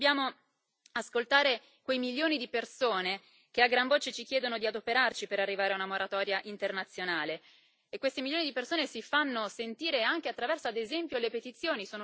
Dobbiamo ascoltare quei milioni di persone che a gran voce ci chiedono di adoperarci per arrivare a una moratoria internazionale e questi milioni di persone si fanno sentire anche attraverso, ad esempio, le petizioni.